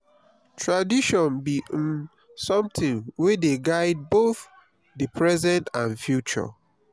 tradition bi um somtin wey dey guide both di present and future.